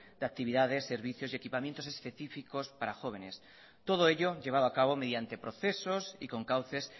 de actividades servicios y equipamientos para jóvenes todo ello llevado acabo mediante procesos y con cauces